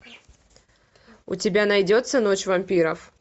у тебя найдется ночь вампиров